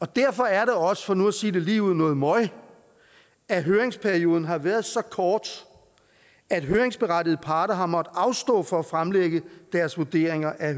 derfor er det også for nu at sige det lige ud noget møg at høringsperioden har været så kort at høringsberettigede parter har måttet afstå fra at fremlægge deres vurderinger af